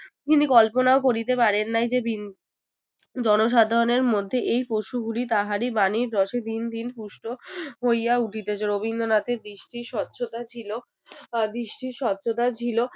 তিনি কল্পনাও করিতে পারেন নাই যে বিন্দু জনসাধারণের মধ্যে এই পশু গুলি তাহারই বানীর রসে দিন দিন পুষ্ট হইয়া উঠিতেছে রবীন্দ্রনাথের দৃষ্টির স্বচ্ছতা ছিল দৃষ্টির স্বচ্ছতা ছিলো